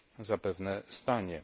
zapewne stanie.